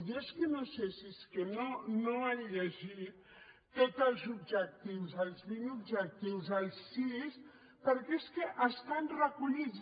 jo és que no sé si és que no han llegit tots els objectius els vint objectius els sis perquè és que hi estan recollits